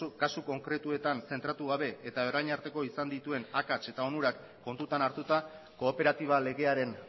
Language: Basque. kasu konkretuetan zentratu gabe eta orain arteko izan dituen akats eta onurak kontutan hartuta kooperatiba legearen